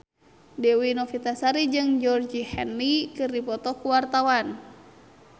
Dewi Novitasari jeung Georgie Henley keur dipoto ku wartawan